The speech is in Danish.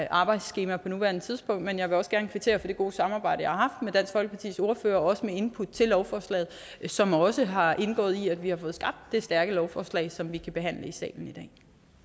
arbejdsskema på nuværende tidspunkt men jeg vil gerne kvittere for det gode samarbejde jeg har med dansk folkepartis ordfører og også med input til lovforslaget som også har indgået i at vi har fået skabt det stærke lovforslag som vi kan behandle i salen